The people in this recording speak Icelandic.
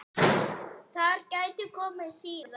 Þær gætu komið síðar.